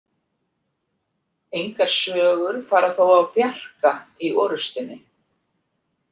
Engar sögur fara þó af Bjarka í orustunni.